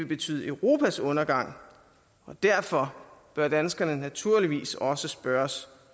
betyde europas undergang og derfor bør danskerne naturligvis også spørges